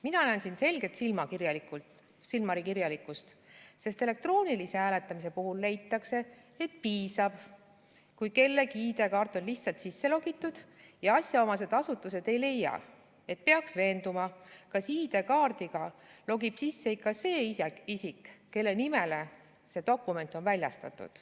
Mina näen siin selget silmakirjalikkust, sest elektroonilise hääletamise puhul leitakse, et piisab, kui kellegi ID-kaart on lihtsalt sisse logitud, ja asjaomased asutused ei leia, et peaks veenduma, kas ID-kaardiga logib sisse ikka see isik, kelle nimele see dokument on väljastatud.